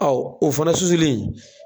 o fana susili